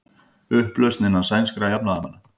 Upplausn innan sænskra jafnaðarmanna